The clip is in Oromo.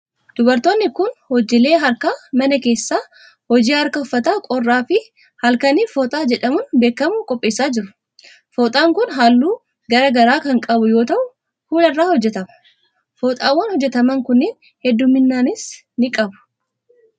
Dubartoonni kun, hojiilee harka namaa keessaa hojii harkaa uffata qorraa fi halkanii fooxaa jedhamuun beekamu qopheessaa jiru. Fooxaan kun, haalluu garaa garaa kan qabu yoo ta'u ,kuula irraa hojjatama. Fooxaawwan, hojjataman kunneen hedduumminas ni qabu.